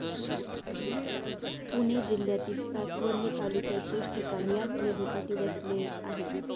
पुणे जिल्ह्यातील सासवड हे तालुक्याचे ठिकाण या नदीकाठी वसले आहे.